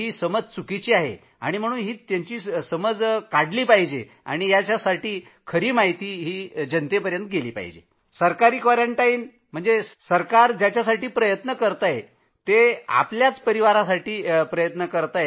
सर्वांना याची माहिती झाली पाहिजे की सरकारी क्वारंटाईन त्यांच्यासाठी आहे त्यांच्या परिवारासाठी आहे